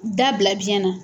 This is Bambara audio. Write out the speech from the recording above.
Da bila biyɛn na.